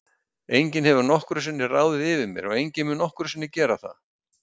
Enginn hefur nokkru sinni ráðið yfir mér og enginn mun nokkru sinni gera það.